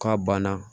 K'a banna